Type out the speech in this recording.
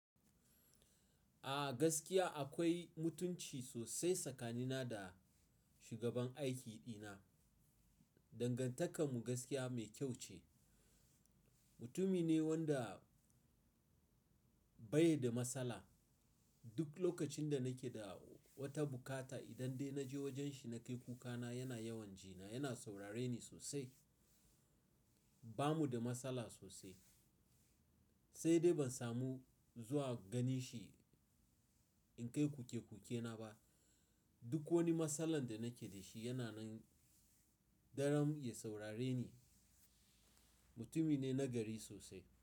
A gaskiya akwai mutunci sosai tsakanina da shugaban aiki dina. Dangantakar mu gaskiya mai kyau ce. Mutumi ne wanda bai da matsala. Duk lokacin da nake da wata bukata idan dai naje wajen shi na kai kukana yana yawan jina, yana saurare ni sosai. Ba mu da matsala sosai. Sai dai ban samu zuwa ganin shi in kai kuke kukena ba. Duk wani matsalan da nake da shi yana nan daren ya saurare ni. Mutumi ne nagari sosai.